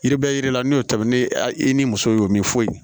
Yiri bɛ yiri la n'o tɛmɛnen a i ni musow ye o min foyi